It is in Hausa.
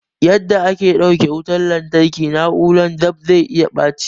Yarda ake ta ɗauke wutan lantarki na'urar dab'i zai iya baci